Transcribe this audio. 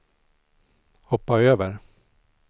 hoppa över